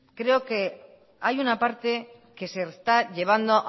creo que hay una parte que se está llevando